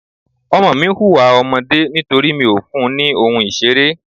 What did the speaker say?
Ọmọ mi ń hùwà ọmọdé nítorí mi ò fún ní ohun ìṣeré.